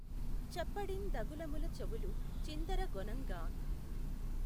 చెప్పెడిఁ దగులములు చెవులు చిందఱ గొనఁగాఁ